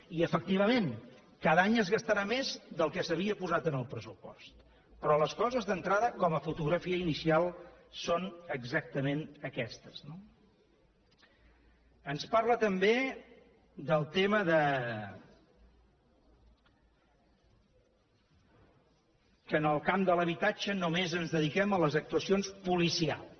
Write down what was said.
i efectivament cada any es gastarà més del que s’havia posat en el pressupost però les coses d’entrada com a fotografia inicial són exactament aquestes no ens parla també del tema que en el camp de l’habitatge només ens dediquem a les actuacions policials